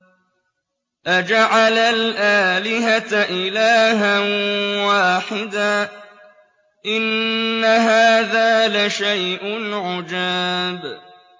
أَجَعَلَ الْآلِهَةَ إِلَٰهًا وَاحِدًا ۖ إِنَّ هَٰذَا لَشَيْءٌ عُجَابٌ